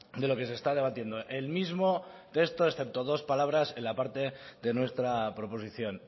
de lo que se está debatiendo el mismo texto excepto dos palabras en la parte de nuestra proposición